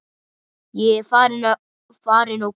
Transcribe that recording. Ég er farin og komin.